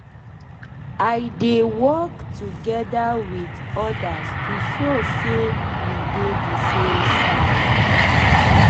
i dey work togeda with ordas to show say we dey de same side